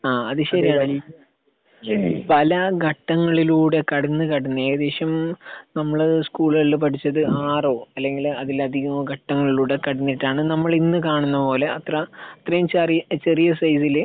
അത് ശരിയാണ് ഈ പല ഘട്ടങ്ങളിലൂടെ കടന്ന് കടന്ന് ഏകദേശം നമ്മള് സ്കൂളുകളിൽ നിന്ന് പഠിച്ചത് ആറോ അല്ലെങ്കിൽ അതിലധികമോ ഘട്ടങ്ങളിലൂടെ കടന്നിട്ടാണ് നമ്മളിന്ന് കാണുന്ന പോലെ അത്ര ഇത്രയും ചെറിയ സൈസിൽ